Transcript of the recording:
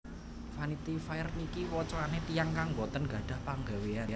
Vanity Fair niki wocoane tiyang kang mboten nggadhah penggaweyan